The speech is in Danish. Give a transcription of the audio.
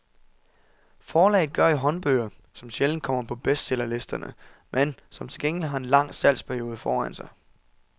Forlaget gør i håndbøger, som sjældent kommer på bestsellerlisterne, men som til gengæld har en lang salgsperiode foran sig.